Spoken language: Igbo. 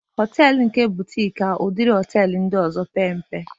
Họtelu nke butik ka udiri họtelu ndị ọzọ pee mpe